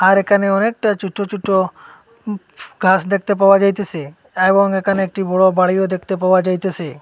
আর এখানে অনেকটা ছোট ছোট কাজ দেখতে পাওয়া যাইতেছে এবং এখানে একটি বড় বাড়িও দেখতে পাওয়া যাইতেছে।